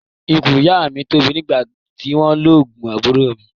Ikùn ìyá mi tóbi gan nígbà tí wọ́n lóyún àbúrò mi